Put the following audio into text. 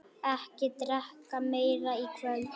Ekki drekka meira í kvöld.